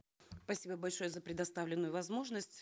спасибо большое за предоставленную возможность